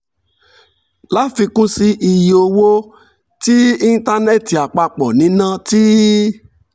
láfikún sí i iye owó tí íńtánẹ́ẹ̀tì àpapọ̀ ń ná ti